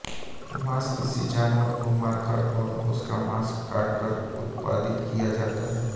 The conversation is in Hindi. मांस किसी जानवर को मारकर और उसका मांस काटकर उत्पादित किया जाता है